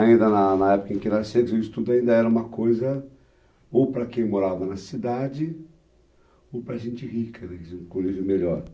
Ainda na na época em que nasci, o estudo ainda era uma coisa ou para quem morava na cidade ou para gente rica, né, quer dizer, um colírio melhor.